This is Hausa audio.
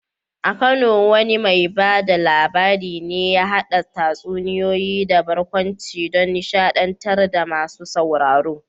A Kano wane mai ba da labari ne ya haɗa tatsuniyoyi da barkwanci don nishaɗantar da masu sauraro?